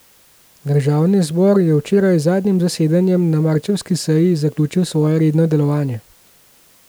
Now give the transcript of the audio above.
Državni zbor je včeraj z zadnjim zasedanjem na marčevski seji zaključil svoje redno delovanje.